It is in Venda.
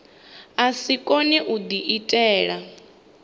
a si kone u diitela